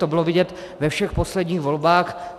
To bylo vidět ve všech posledních volbách.